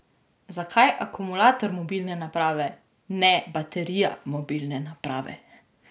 Zakaj akumulator mobilne naprave, ne baterija mobilne naprave?